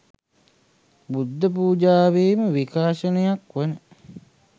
බුද්ධ පූජාවේ ම විකාශනයක් වන